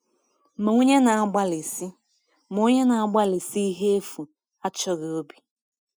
“Ma onye na-agbalịsi “Ma onye na-agbalịsi ihe efu achọghị obi.”